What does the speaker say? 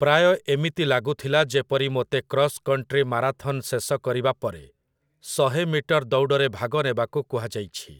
ପ୍ରାୟ ଏମିତି ଲାଗୁଥିଲା ଯେପରି ମୋତେ କ୍ରସ୍‌କଣ୍ଟ୍ରି ମାରାଥନ୍ ଶେଷ କରିବା ପରେ ଶହେ ମିଟର ଦୌଡ଼ରେ ଭାଗ ନେବାକୁ କୁହାଯାଇଛି ।